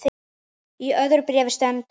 Í öðru bréfi sendur